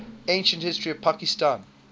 ancient history of pakistan